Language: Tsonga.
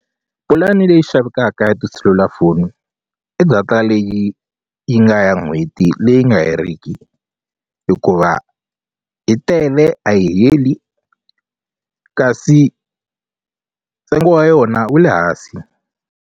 Pulani leyi xavekaka ya tiselulafoni i data leyi yi nga ya n'hweti leyi nga heriki hikuva yi tele a yi heli kasi ntsengo wa yona wu le hansi.